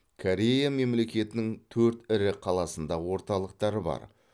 корея мемлекетінің төрт ірі қаласында орталықтары бар